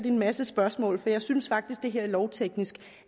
en masse spørgsmål for jeg synes faktisk at det her lovteknisk